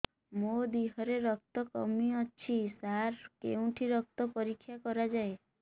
ମୋ ଦିହରେ ରକ୍ତ କମି ଅଛି ସାର କେଉଁଠି ରକ୍ତ ପରୀକ୍ଷା କରାଯାଏ